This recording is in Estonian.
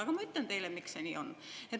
Aga ma ütlen teile, miks see nii on.